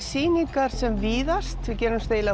sýningar sem víðast við gerumst eiginlega